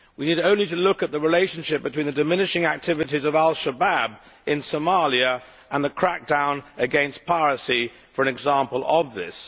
We need only to look at the relationship between the diminishing activities of Al Shabaab in Somalia and the crackdown against piracy for an example of this.